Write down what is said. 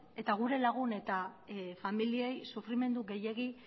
eta gure lagun eta familiei sufrimendu gehiegi